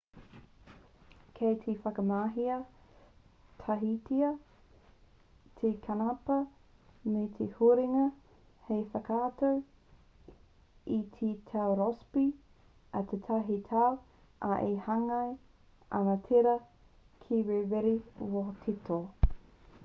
kei te whakamahia tahitia te kanapā me te huringa hei whakatau i te tau rossby a tētahi tau ā e hāngai ana tērā ki te rere wētoto